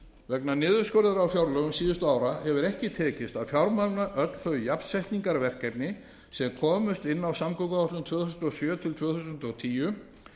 vegna niðurskurðar á fjárlögum síðustu ára hefur ekki tekist að fjármagna öll þau jafnsetningarverkefni sem komust inn á samgönguáætlun tvö þúsund og sjö til tvö þúsund og tíu